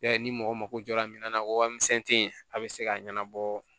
Ya ye ni mɔgɔ mako jɔra minna ko wa misɛn te yen a bɛ se ka ɲɛnabɔ